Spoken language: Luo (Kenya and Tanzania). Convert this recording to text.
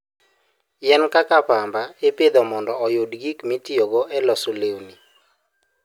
Yien kaka pamba ipidho mondo oyud gik mitiyogo e loso lewni.